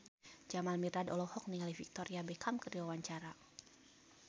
Jamal Mirdad olohok ningali Victoria Beckham keur diwawancara